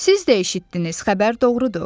Siz də eşitdiniz, xəbər doğrudur.